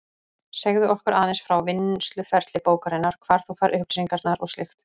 Segðu okkur aðeins frá vinnsluferli bókarinnar, hvar þú færð upplýsingarnar og slíkt.